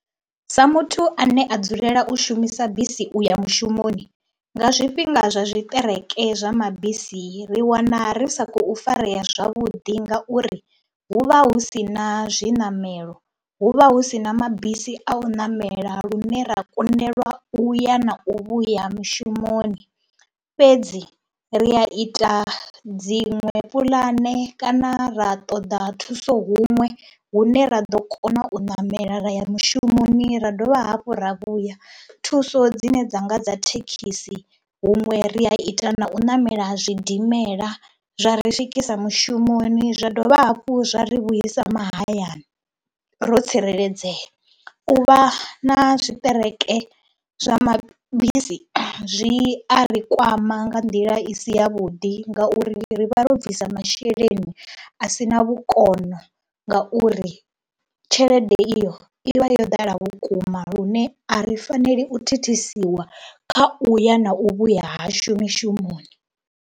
Sa muthu ane a dzulela u shumisa bisi u ya mushumoni nga zwifhinga zwa zwiṱereke zwa mabisi, ri wana ri sa khou farea zwavhuḓi ngauri hu vha hu si na zwiṋamelo, hu vha hu si na mabisi a u ṋamela lune ra kundelwa u ya na u vhuya mushumoni fhedzi ri a ita dziṅwe puḽane kana ra ṱoḓa thuso huṅwe hune ra ḓo kona u ṋamela ra ya mushumoni ra dovha hafhu ra vhuya. Thuso dzine dza nga dza thekhisi, huṅwe ri a ita na u ṋamela zwidimela zwa ri swikisa mushumoni zwa dovha hafhu zwa ri vhuisa mahayani ro tsireledzea. U vha na zwiṱereke zwa mabisi zwi a ri kwama nga nḓila i si yavhuḓi ngauri ri vha ro bvisa masheleni a si na vhukono lwa ngauri tshelede iyo i vha yo ḓala vhukuma lune a ri faneli u thithisiwa kha u ya na u vhuya hashu mishumoni.